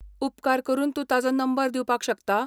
उपकार करून तूं ताजो नंबर दिवपाक शकता?